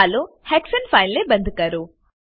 ચાલો હેક્સાને ફાઈલ ને બંદ કરો